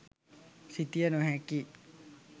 සිතිය නොහැකිය.